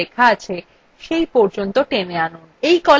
এই columnthe নির্বাচিত হয়ে গেছে